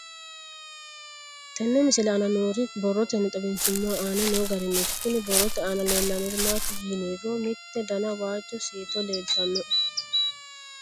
Tenne misile aana noore borroteni xawiseemohu aane noo gariniiti. Kunni borrote aana leelanori maati yiniro mitte dana waajo siito leeltanoe.